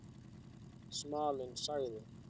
Smalinn sagði